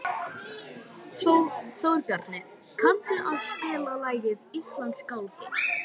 Þórbjarni, kanntu að spila lagið „Íslandsgálgi“?